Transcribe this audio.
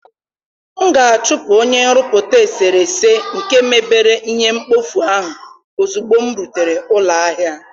M ga-achụpụ onye nrụpụta eserese nke mebere ihe mkpofu ahụ ozugbo m nrutere ụlọ ahịa.